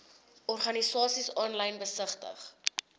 organisasies aanlyn besigtig